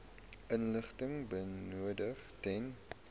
inligting benodig ten